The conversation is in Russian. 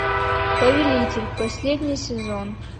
повелитель последний сезон